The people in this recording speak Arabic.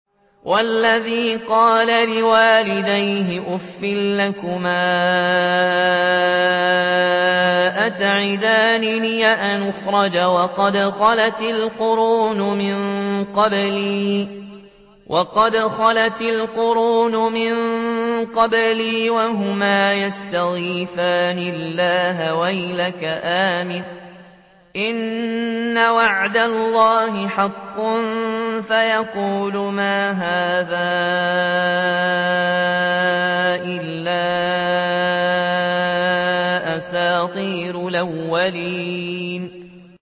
وَالَّذِي قَالَ لِوَالِدَيْهِ أُفٍّ لَّكُمَا أَتَعِدَانِنِي أَنْ أُخْرَجَ وَقَدْ خَلَتِ الْقُرُونُ مِن قَبْلِي وَهُمَا يَسْتَغِيثَانِ اللَّهَ وَيْلَكَ آمِنْ إِنَّ وَعْدَ اللَّهِ حَقٌّ فَيَقُولُ مَا هَٰذَا إِلَّا أَسَاطِيرُ الْأَوَّلِينَ